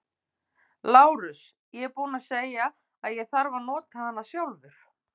LÁRUS: Ég er búinn að segja að ég þarf að nota hana sjálfur.